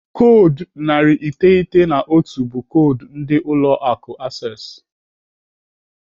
Koodu narị iteghete na otu be koodu ndị ụlọ akụ Access.